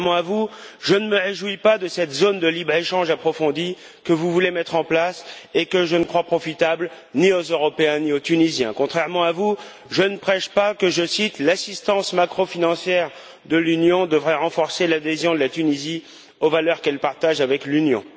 Contrairement à vous, je ne me réjouis pas de cette zone de libre échange approfondi que vous voulez mettre en place et que je ne crois profitable ni aux Européens, ni aux Tunisiens. Contrairement à vous, je ne prêche pas que, je cite, l'assistance macro financière de l'Union devrait renforcer l'adhésion de la Tunisie aux valeurs qu'elle partage avec l'Union.